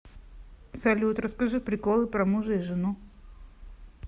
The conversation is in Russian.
салют расскажи приколы про мужа и жену